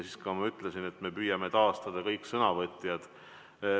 Siis ma ütlesin, et me püüame taastada kõik sõnavõtjad.